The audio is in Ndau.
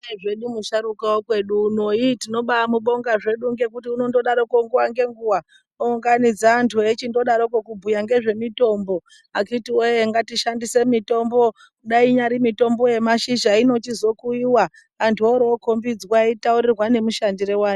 Ndiye zvedu musharukwa wekwedu uno iiii tinobaamubonga zvedu ngekuti unondodaroko nguwa ngenguwa ounganidza antu eichindodaroko kubhuya ngezvemitombo akithi woye ngatishandise mitombo kudai inyari mitombo yemashizha inochizokuyiwa antu orookombidzwa eitaurirwa nemishandire wayo.